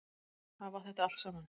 Hafa þetta allt saman?